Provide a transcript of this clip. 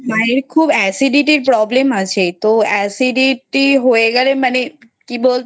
হ্যা মায়ের খুব Acidity এর Problem আছে তো Acidity হয়ে গেলে মানে কি বলতো?